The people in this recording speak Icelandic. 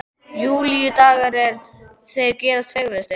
Júlídagur eins og þeir gerast fegurstir.